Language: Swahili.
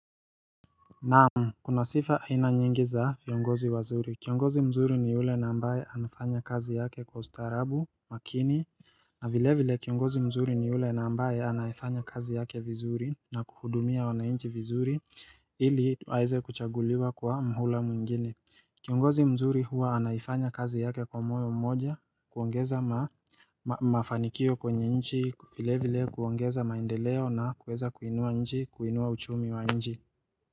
Naam kuna sifa aina nyingi za viongozi wazuri kiongozi mzuri ni ule na ambaye anafanya kazi yake kwa ustarabu makini na vile vile kiongozi mzuri ni yule na ambaye anafanya kazi yake vizuri na kuhudumia wanainchi vizuri ili waeze kuchaguliwa kwa mhula mwingine Kiongozi mzuri huwa anafanya kazi yake kwa moyo mmoja kuongeza ma mafanikio kwenye nchi vile vile kuongeza maindeleo na kuweza kuinua nchi kuinua uchumi wa nchi.